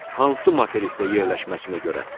Hansı materikdə yerləşməsinə görə.